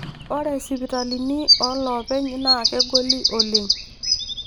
Ore sipitalini olopeny naa kegoli oleng.